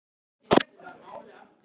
Í tíma en ekki í rúmi.